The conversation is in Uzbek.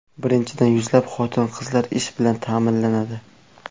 Birinchidan, yuzlab xotin-qizlar ish bilan ta’minlanadi.